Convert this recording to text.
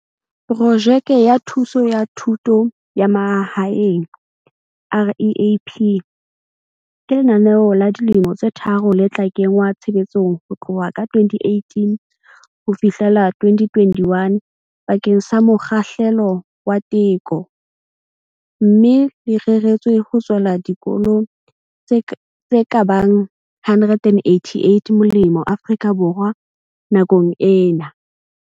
Projeke ya Thuso ya Thuto ya Mahaeng, REAP, ke lenaneo la dilemo tse tharo le tla kenngwa tshebetsong ho tloha ka 2018 ho fihlela 2021 bakeng sa mokgahlelo wa teko, mme le reretswe ho tswela dikolo tse ka bang 188 molemo Afrika Borwa nakong ena.